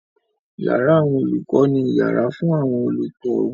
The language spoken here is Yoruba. Yàrá àwọn olùkọ́ ni yàrá fún àwọn olùkọ́.